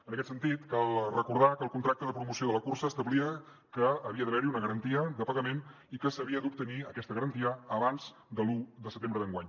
en aquest sentit cal recordar que el contracte de promoció de la cursa establia que havia d’haver hi una garantia de pagament i que s’havia d’obtenir aquesta garantia abans de l’un de setembre d’enguany